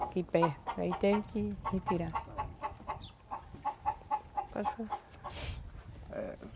Aqui perto, aí teve que retirar.